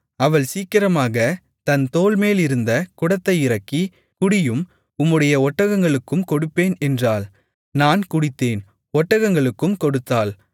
அவள் சீக்கிரமாகத் தன் தோள்மேலிருந்த குடத்தை இறக்கி குடியும் உம்முடைய ஒட்டகங்களுக்கும் கொடுப்பேன் என்றாள் நான் குடித்தேன் ஒட்டகங்களுக்கும் கொடுத்தாள்